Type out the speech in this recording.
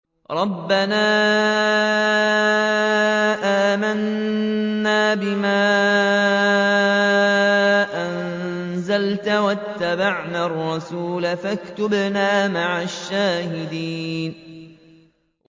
رَبَّنَا آمَنَّا بِمَا أَنزَلْتَ وَاتَّبَعْنَا الرَّسُولَ فَاكْتُبْنَا مَعَ الشَّاهِدِينَ